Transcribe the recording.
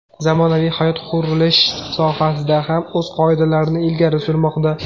Zamonaviy hayot qurilish sohasida ham o‘z qoidalarini ilgari surmoqda.